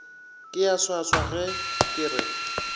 ke a swaswage ke re